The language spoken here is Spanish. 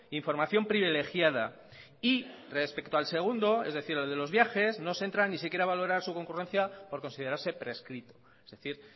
información privilegiada y respecto al segundo es decir el de los viajes no se entra ni siquiera a valorar su congruencia por considerarse prescrito es decir